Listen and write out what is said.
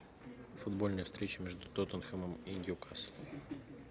футбольная встреча между тоттенхэмом и ньюкаслом